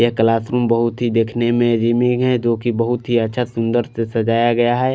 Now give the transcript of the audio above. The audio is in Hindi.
यह क्लास रूम बहोत ही देखने में रेमिंग है जोकि बहुत ही अच्छा सुंदर से सजाया गया है।